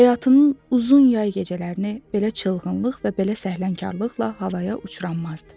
Həyatının uzun yay gecələrini belə çılğınlıq və belə səhlənkarlıqla havaya uçurmazdı.